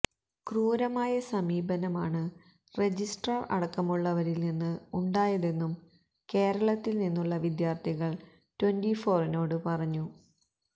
ക്രൂരമായ സമീപനമാണ് രജിസ്ട്രാർ അടക്കമുള്ളവരിൽ നിന്ന് ഉണ്ടായതെന്നും കേരളത്തിൽ നിന്നുള്ള വിദ്യാർത്ഥികൾ ട്വന്റിഫോറിനോട് പറഞ്ഞു